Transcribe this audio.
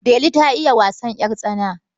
Delu ta iya wasan ƴartsana.